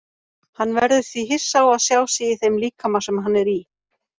Hann verður því hissa á að sjá sig í þeim líkama sem hann er í.